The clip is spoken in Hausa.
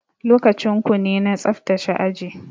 Lokacin kune na tsaftace aji.